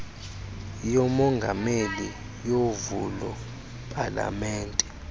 kamongameli yovulo palamente